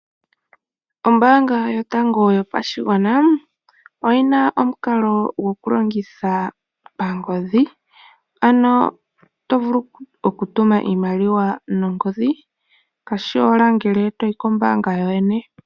Ombaanga yotango yopashigwana oyi n aomukalo gokulongitha pangodhi ano to vulu okutuma iimaliw anongodhi. Kashi shi owala ngele to yi kombaanga kokwene.